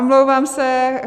Omlouvám se.